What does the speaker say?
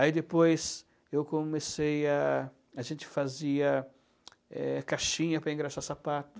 Aí depois eu comecei a... A gente fazia, eh, caixinha para engraxar sapato.